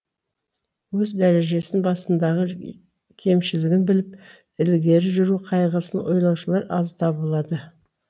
өз дәрежесін басындағы кемшілігін біліп ілгері жүру қайғысын ойлаушылар аз табылады